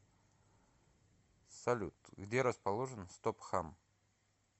салют где расположен стопхам